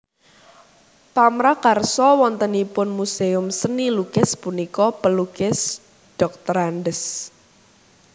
Pamrakarsa wontenipun muséum seni lukis punika Pelukis Drs